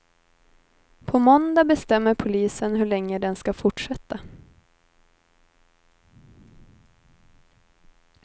På måndag bestämmer polisen hur länge den ska fortsätta.